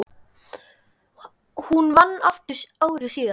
Hún vann aftur ári síðar.